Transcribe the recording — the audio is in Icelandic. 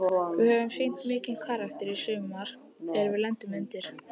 Við höfum sýnt mikinn karakter í sumar þegar við lendum undir.